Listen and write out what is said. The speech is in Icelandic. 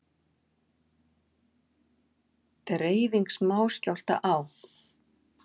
Konungurinn sá á sveinana.